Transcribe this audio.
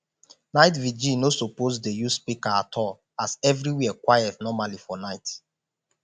night vigil no suppose dey use speaker at all as evriwhere quiet normally for night